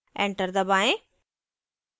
enter दबाएँ